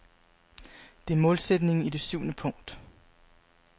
Det er målsætningen i det syvende punkt.